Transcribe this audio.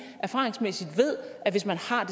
erfaringsmæssigt ved at hvis man har